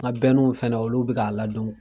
N ka fana olu bɛka ladon n kun.